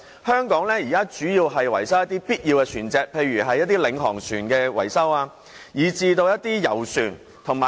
香港的船廠現時主要維修一些必要的船隻，例如領航船及遊船。